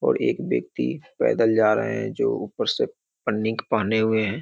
और एक व्यक्ति पैदल जा रहें हैं जो ऊपर से पन्नीक पहने हुए हैं।